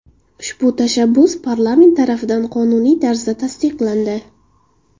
Ushbu tashabbus parlament tarafidan qonuniy tarzda tasdiqlandi.